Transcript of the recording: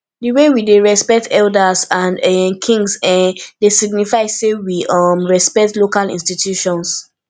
di way we dey respect elders and um kings um dey signify sey we um respect local institutions